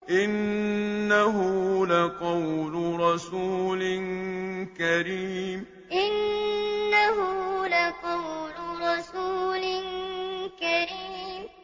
إِنَّهُ لَقَوْلُ رَسُولٍ كَرِيمٍ إِنَّهُ لَقَوْلُ رَسُولٍ كَرِيمٍ